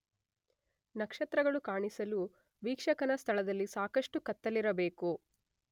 ನಕ್ಷತ್ರಗಳು ಕಾಣಿಸಲು ವೀಕ್ಷಕನ ಸ್ಥಳದಲ್ಲಿ ಸಾಕಷ್ಟು ಕತ್ತಲಿರಬೇಕು.